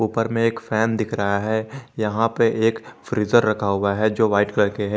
ऊपर में एक फैन दिख रहा है यहां पर एक फ्रीजर रखा हुआ है जो व्हाइट कलर के है।